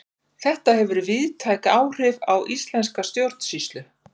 þetta hefur víðtæk áhrif á íslenska stjórnsýslu